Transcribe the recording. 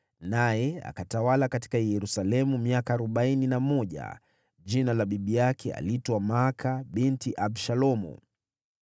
naye akatawala katika Yerusalemu miaka arobaini na mmoja. Bibi yake aliitwa Maaka binti Abishalomu.